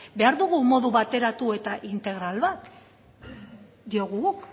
behar dugu modu bateratu eta integral bat diogu guk